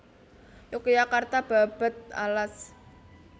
Yogyakarta Babad Alas